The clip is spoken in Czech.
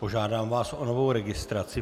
Požádám vás o novou registraci.